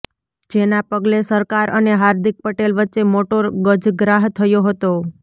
જેના પગલે સરકાર અને હાર્દિક પટેલ વચ્ચે મોટો ગજગ્રાહ થયો હતો